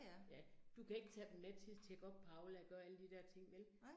Ja, du kan ikke tage dem med til at tjekke op på Aula og gøre alle de der ting vel